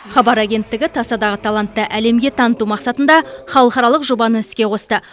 хабар агенттігі тасадағы талантты әлемге таныту мақсатында халықаралық жобаны іске қосты